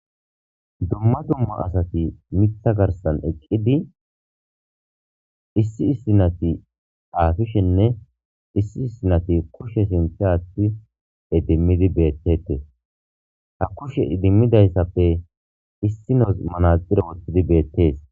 Dumma dumma asati mitha garsan eqqidi issi issinati aafishenne issi issinati kushshe sinte aatti e dimmidi beettete ha kushe dimmidayssappe issinos manaxire wottidi beettees.